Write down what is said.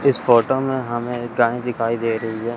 इस फोटो में हमें एक गाय दिखाई दे रही है।